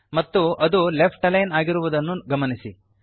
ಮತ್ತು ಅದು left align ಆಗಿರುವುದನ್ನು ಗಮನಿಸಿ